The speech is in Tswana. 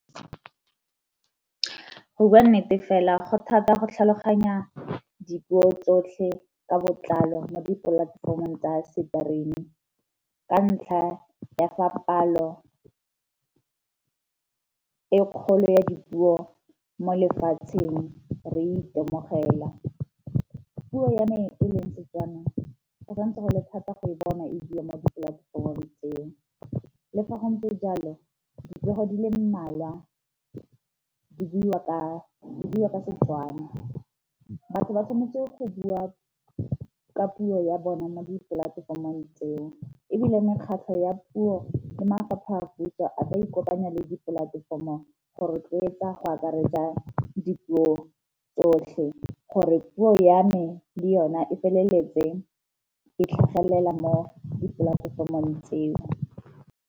Go bua nnete fela go thata go tlhaloganya dipuo tsotlhe ka botlalo mo dipolatefomong tsa stream-i, ka ntlha ya fa palo e kgolo ya dipuo mo lefatsheng re itemogela. Puo ya me e leng Setswaneng go santse go le thata go e bona e di mo dipolatefomong tseo. Le fa go ntse jalo dipego di le mmalwa di buiwa ka Setswana. Batho ba tshwanetse go bua ka puo ya bone mo dipolatefomong tseo, ebile mekgatlho ya puo le mafapha a puso a ka ikopanya dipolatefomong go rotloetsa go akaretsa dipuo tsotlhe gore puo ya me le yona e feleletseng e tlhagelela mo dipolatefomong tseo.